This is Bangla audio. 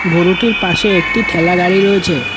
গোরুটির পাশে একটি ঠেলাগাড়ি রয়েছে।